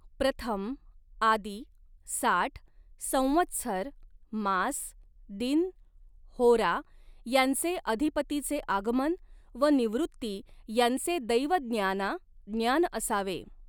प्रथम आदि साठ संवत्सर मास दिन होरा यांचे अधिपतीचे आगमन व निवृत्ती यांचे दैवज्ञाना ज्ञान असावे.